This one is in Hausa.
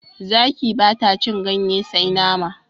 Zaki bata cin ganye sai nama